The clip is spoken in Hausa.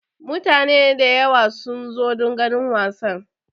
Mutane da yawa sun zo don ganin wasan.